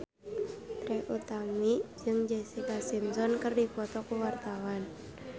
Trie Utami jeung Jessica Simpson keur dipoto ku wartawan